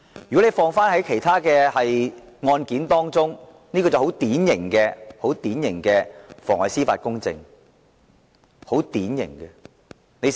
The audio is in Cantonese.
如果放諸於其他案件，這是很典型的妨礙司法公正的情況。